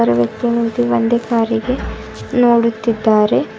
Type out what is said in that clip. ಆ ವ್ಯಕ್ತಿ ನಿಂತು ಒಂದೇ ಕಾರಿಗೆ ನೋಡುತ್ತಿದ್ದಾರೆ.